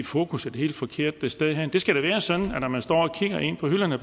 fokus et helt forkert sted hen det skal da være sådan at man når man står og kigger ind på hylderne